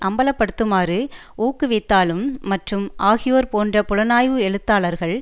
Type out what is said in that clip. அம்பலப்படுத்துமாறு ஊக்குவித்தாலும் மற்றும் ஆகியோர் போன்ற புலனாய்வு எழுத்தாளர்கள்